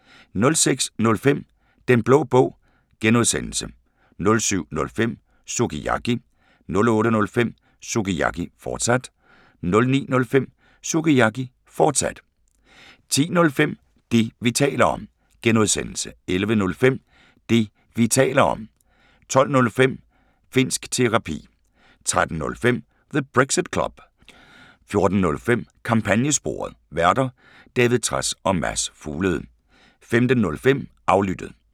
06:05: Den Blå Bog (G) 07:05: Sukiyaki 08:05: Sukiyaki, fortsat 09:05: Sukiyaki, fortsat 10:05: Det, vi taler om (G) 11:05: Det, vi taler om (G) 12:05: Finnsk Terapi 13:05: The Brexit Club 14:05: Kampagnesporet: Værter: David Trads og Mads Fuglede 15:05: Aflyttet